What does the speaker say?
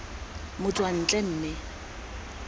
k g r motswantle mme